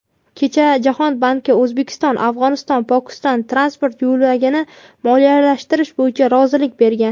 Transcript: kecha Jahon banki O‘zbekiston-Afg‘oniston-Pokiston transport yo‘lagini moliyalashtirish bo‘yicha rozilik bergan.